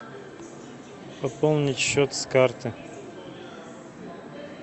пополнить счет с карты